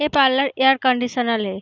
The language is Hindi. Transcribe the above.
ये पार्लर एयर कंडीशनर है।